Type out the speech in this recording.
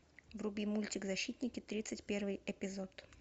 вруби мультик защитники тридцать первый эпизод